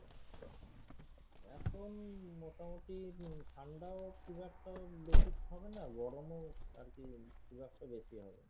এখন মোটামুটি ঠান্ডাও খুব একটা বেশি হবে না, গরমও আরকি খুব একটা বেশি হবে না।